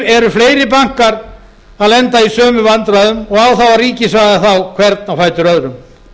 eru fleiri bankar að lenda í sömu vandræðum og á þá að ríkisvæða þá hvern á fætur öðrum